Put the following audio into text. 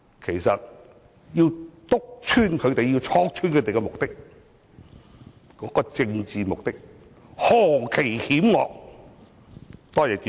其實，我們應當面戳破他們的政治目的，是何其險惡，多謝主席。